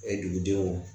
dugudenw